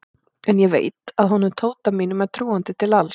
En ég veit að honum Tóta mínum er trúandi til alls.